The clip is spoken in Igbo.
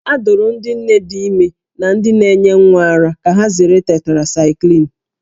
A dụrụ ndị nne dị ime na ndị na-enye nwa ara ka ha zere tetracaịklin